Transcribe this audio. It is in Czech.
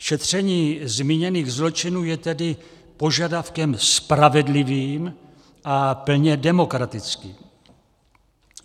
Šetření zmíněných zločinů je tedy požadavkem spravedlivým a plně demokratickým.